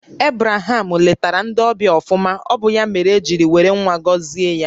Ebraham lètara ndị ọbịa ọfụma, ọ bụ ya mèrè e ji jiri wéré ńwá gọzie ya